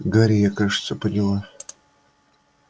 гарри я кажется поняла